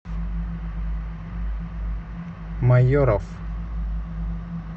майоров